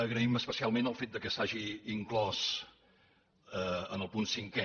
agraïm especialment el fet que s’hagi inclòs en el punt cinquè